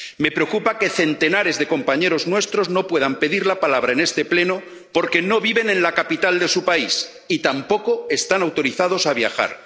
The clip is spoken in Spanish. Me preocupa que centenares de compañeros nuestros no puedan pedir la palabra en este Pleno porque no viven en la capital de su país y tampoco están autorizados a viajar